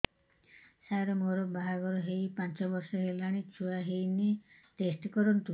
ସାର ମୋର ବାହାଘର ହେଇ ପାଞ୍ଚ ବର୍ଷ ହେଲାନି ଛୁଆ ହେଇନି ଟେଷ୍ଟ କରନ୍ତୁ